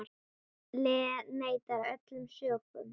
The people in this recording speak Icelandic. Lee neitar öllum sökum.